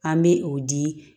An bɛ o di